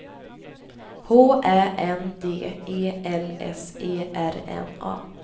H Ä N D E L S E R N A